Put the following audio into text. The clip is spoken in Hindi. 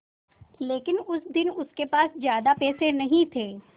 लेकिन उस दिन उसके पास ज्यादा पैसे नहीं थे